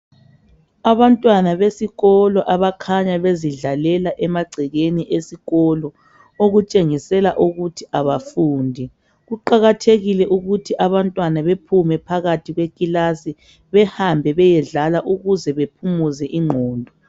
Abantwana besikolo abakhanya bezidlalela emagcekeni esikolo okutshengisela ukuthi abafundi kuqakathekile ukuthi abantwana bephume phakathi kwekilasi behambe beyedlala ukuze bephumuze ingqondo